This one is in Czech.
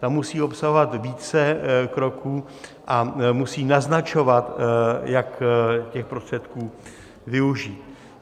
Ta musí obsahovat více kroků a musí naznačovat, jak těch prostředků využít.